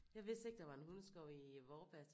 Jeg vidste ikke der var en hundeskov i Vorbasse